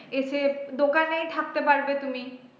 এসে দোকানেই থাকতে পারবে তুমি।